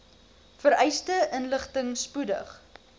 vereiste inligting spoedig